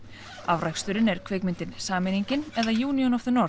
afraksturinn er kvikmyndin sameiningin eða union of the